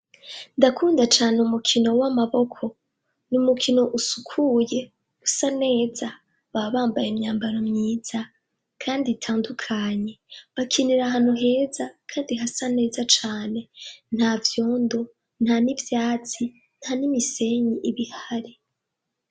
Ndakunda cane umukino w'amaboko. Ni umukino usukuye, usa neza. Baba bambaye imyambaro myiza kandi itandukanye. Bakinira ahantu heza kandi hasa neza cane ; nta vyondo nta n'ivyatsi nta n'imisenyi iba ihari.